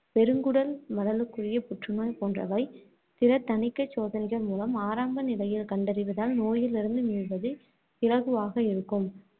பெருங்குடல் மலலுக்குரிய புற்று நோய் போன்றவை திறத் தணிக்கைச் சோதனைகள் மூலம் ஆரம்ப நிலையில் கண்டறிவதால் நோயிலிருந்து மீள்வது இலகுவாக இருக்கும்